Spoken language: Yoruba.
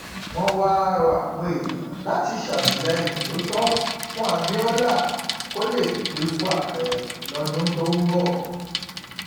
wọn wáá rọ àwọn èèyàn láti ṣàtìlẹyìn tó tọ fún abiola kó lè dépò ààrẹ lọdún tó ń bọ